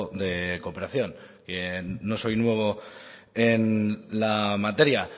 de cooperación no soy nuevo en la materia